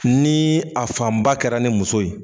Ni a fanba kɛra ni muso ye.